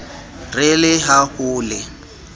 re le ha ho le